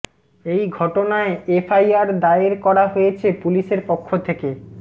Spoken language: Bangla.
এই ঘটনায় এফআইআর দায়ের করা হয়েছে পুলিশের পক্ষ থেকে